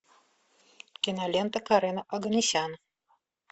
кинолента карена оганесян